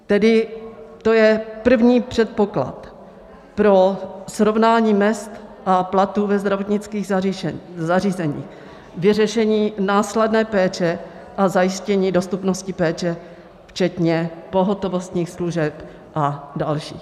Tedy to je první předpoklad pro srovnání mezd a platů ve zdravotnických zařízeních, vyřešení následné péče a zajištění dostupnosti péče včetně pohotovostních služeb a další.